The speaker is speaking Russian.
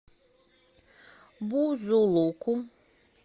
бузулуку